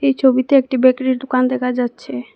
এই ছবিতে একটি বেকারী -এর দুকান দেখা যাচ্ছে।